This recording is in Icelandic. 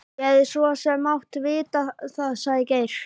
Ég hefði svo sem mátt vita það sagði Geir.